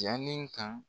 Jalen kan